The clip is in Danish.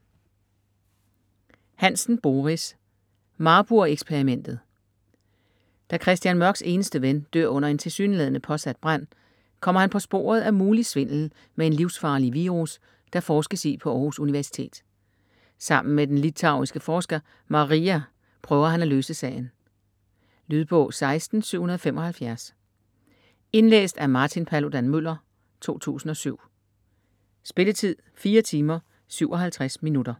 Hansen, Boris: Marburg-eksperimentet Da Christian Mørks eneste ven dør under en tilsyneladende påsat brand, kommer han på sporet af mulig svindel med en livsfarlig virus, der forskes i på Århus Universitet. Sammen med den litauiske forsker Marija prøver han at løse sagen. Lydbog 16775 Indlæst af Martin Paludan-Müller, 2007. Spilletid: 4 timer, 57 minutter.